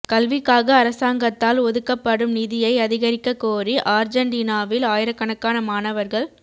கல்விக்காக அரசாங்கத்தால் ஒதுக்கப்படும நிதியை அதிகரிக்கக் கோரி ஆர்ஜன்டீனாவில் ஆயிரக்கணக்கான மாணவர்களு